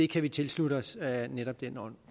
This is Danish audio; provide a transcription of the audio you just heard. kan vi tilslutte os af netop den